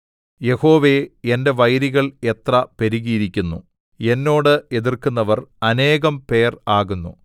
യഹോവേ എന്റെ വൈരികൾ എത്ര പെരുകിയിരിക്കുന്നു എന്നോട് എതിർക്കുന്നവർ അനേകം പേർ ആകുന്നു